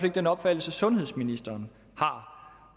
er den opfattelse sundhedsministeren har